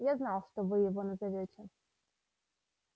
я знал что вы его назовёте